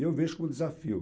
E eu vejo como desafio.